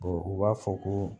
u b'a fɔ ko